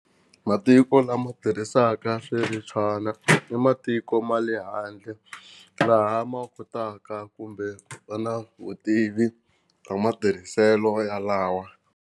Matiko lama tirhisaka i matiko ma le handle laha ma kotaka kumbe va na vutivi bya matirhiselo yalawa.